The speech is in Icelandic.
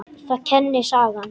Það kennir sagan.